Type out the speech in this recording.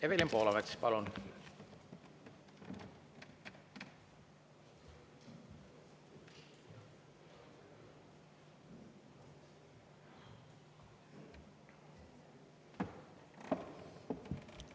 Evelin Poolamets, palun!